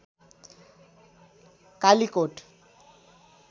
Kalikot